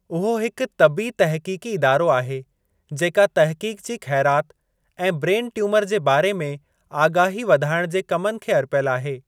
उहो हिक तबी तहक़ीक़ी इदारो आहे जेका तहक़ीक़ु जी खै़राति ऐं ब्रेन ट्यूमर जे बारे में आगाही वधाइणु जे कमनि खे अर्पियलु आहे।